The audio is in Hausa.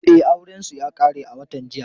E, aurensu ya ƙare a watan jiya.